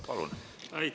Palun!